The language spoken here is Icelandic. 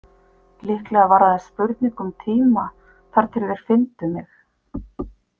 Líklega var aðeins spurning um tíma þar til þeir fyndu mig.